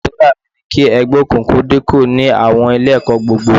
Àdúrà mi ni kí ẹgbẹ́ òkùnkùn dínkù ní àwọn Ilé-ẹ̀kọ́ gbogbo